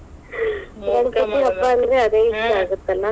ಅಂದ್ರ ಅದೇ ಈಸ್ಟಾ .